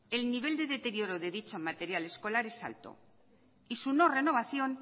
el nivel de deterioro de dicho material escolar es alto y su no renovación